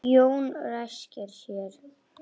Jón ræskir sig.